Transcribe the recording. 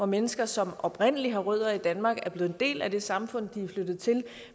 mennesker som oprindelig har rødder i danmark som er blevet en del af det samfund de er flyttet til